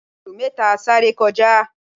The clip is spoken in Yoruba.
ejò méta sáré kọjá